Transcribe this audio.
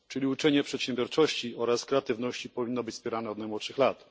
Zatem uczenie przedsiębiorczości i kreatywności powinno być wspierane od najmłodszych lat.